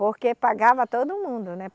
Porque pagava todo mundo, né?